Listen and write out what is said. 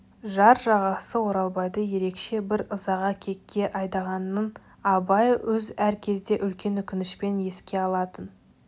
жар жарасы оралбайды ерекше бір ызаға кекке айдағанын абай өз әр кезде үлкен өкінішпен еске алатын